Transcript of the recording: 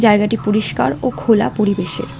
জায়গাটি পরিষ্কার ও খোলা পরিবেশের।